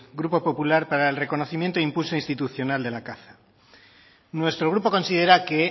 grupo popular para el reconocimiento institucional de la caza nuestro grupo considera que